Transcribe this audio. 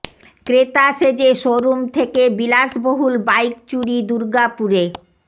ক্রেতা সেজে showroom থেকে বিলাসবহুল বাইক চুরি দুর্গাপুরে